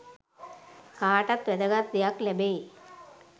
කාටත් වැදගත් දෙයක් ලැබෙයි